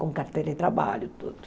Com carteira de trabalho, tudo.